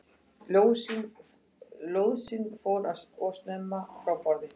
Lóðsinn fór of snemma frá borði